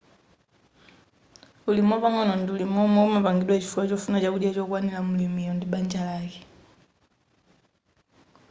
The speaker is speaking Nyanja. ulimi wapang'ono ndi ulimi womwe umapangidwa chifukwa chofuna chakudya chokwanira mlimiyo ndi banja lake